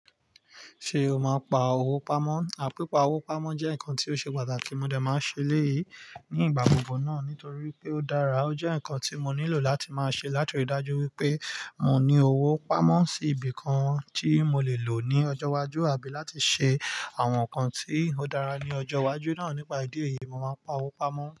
Ṣé o máa pa owó pamọ́? À pìpà owó pamọ́ jẹ́ nǹkan tí ó ṣe pàtàkì, mo dẹ máa ṣe eléyìí ní ìgbà gbogbo náà nítorí pé ó dára. Ó jẹ́ nǹkan tí mo nílò láti máa ṣe látirí dájú wípé mo ní owó pamọ́ sí ibìkan tí mo lè lò ní ọjọ́ iwájú àbí láti ṣe àwọn nǹkan tí ó dára ní ọjọ́ iwájú náà. Nípàá ìdí èyí, mo máa pa owó pamọ́.